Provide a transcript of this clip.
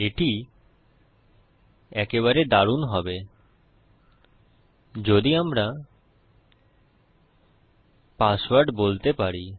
এটি একেবারে দারুন হবে যদি আমরা পাসওয়ার্ড বলতে পারি